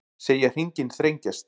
Segja hringinn þrengjast